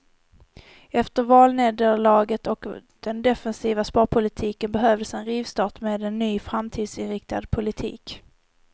Efter valnederlaget och den defensiva sparpolitiken behövdes en rivstart med en ny och framtidsinriktad politik.